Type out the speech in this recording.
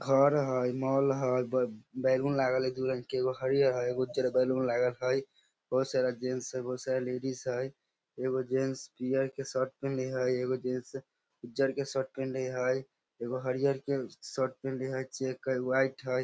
घर हेय मॉल हेय ब बैलून लागल हेय दू रंग के एगो हरियर हेय एगो उज्जर बैलून लागल हेय बहुत सारा जेंट्स हेय बहुत सारा लेडिज हेय एगो जेंट्स पियर के शर्ट पहिन्ले हेय एगो जेंट्स उज्जर के शर्ट पहिन्ले हेय एगो हरियर के शर्ट पहिन्ले हेय चेक हेय व्हाइट हेय।